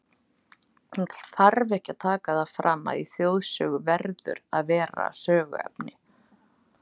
Það þarf ekki að taka það fram, að í þjóðsögu verður að vera söguefni.